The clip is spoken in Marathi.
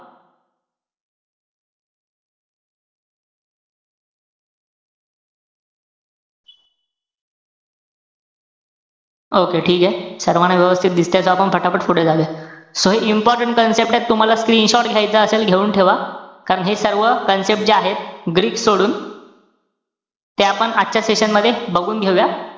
Okay ठीके. सर्वाना व्यवस्थित दिसतंय त आपण फटाफट पुढे जाऊया. So important concept एत तुम्हाला screenshot घायचा असेल, घेऊन ठेवा. कारण हे सर्व concept जे आहेत, greek सोडून ते आपण आजच्या session मध्ये बघून घेऊया.